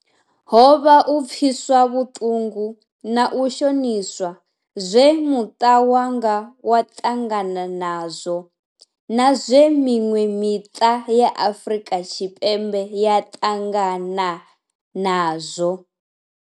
Ho vha u pfiswa vhutungu na u shoniswa zwe muta wanga wa ḓangana nazwo, na zwe minwe mita ya Afrika Tshipembe ya tangana nazwo.